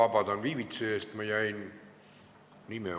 Ma palun viivituse pärast vabandust!